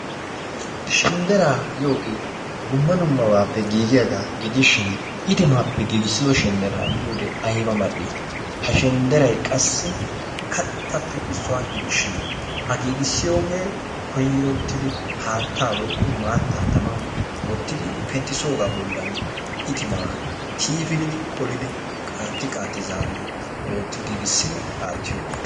Shendderaa giyooge dumma dummabappe giigiyaaba gidishin itimaappe giigissido shendderaa miyoode aybba mal''i , ha qassi shendderay kattappe issuwa gidishin a giiigissiyooge koyrottidi haattaa woykko maataa tamman wooti penttisooga bollan itimaa tiifilidi qoolidi qaatti qaatti zaaridi ootti katti giigissidi aattiyogaa.